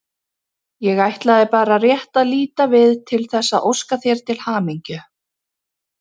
Ég ætlaði bara rétt að líta við til þess að óska þér til hamingju.